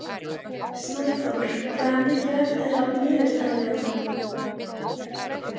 Snæþór, hvað er mikið eftir af niðurteljaranum?